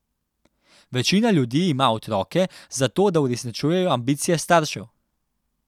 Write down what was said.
Večina ljudi ima otroke zato, da uresničujejo ambicije staršev.